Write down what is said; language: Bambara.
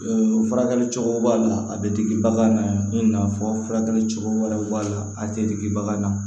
furakɛli cogo b'a la a bɛ digi bagan na i n'a fɔ furakɛli cogo wɛrɛw b'a la a tɛ digi bagan na